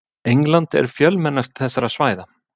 England er fjölmennast þessara svæða.